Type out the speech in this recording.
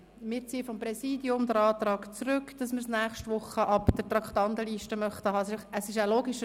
Das Präsidium zieht seinen Antrag, das Geschäft von der Traktandenliste für die nächste Woche zu entfernen, zurück.